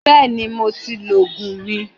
Bẹ́ẹ̀ni, mo ti lọ Ògùn mi